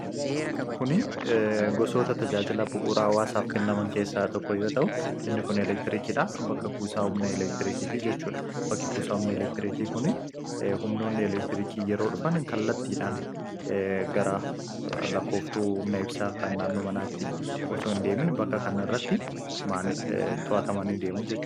Kuni gosoota tajaajila bu'uuraa hawaasaaf kennaman keessaa tokko yoo ta'u inni kun eleektiriikiidha. Bakka kuusaa humna elektiriikiiti jechuudha. Bakki kuusaa humna elektiriikii kun humnoonni elektiriikii yeroo dhufan kallattiidhaan gara lakkooftuu humna ibsa kan naanno manaatti osoo hin deemin bakka kan irratti to'atamani deemu.